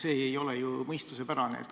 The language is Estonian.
See ei ole ju mõistuspärane.